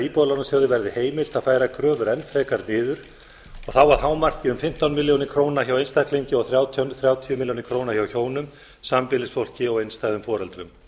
íbúðalánasjóði verði heimilt að færa kröfur enn frekar niður og þá að hámarki um fimmtán milljónir króna hjá einstaklingi og þrjátíu milljónir króna hjá hjónum sambýlisfólki og einstæðum foreldrum